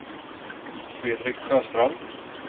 Fredrik Sjöstrand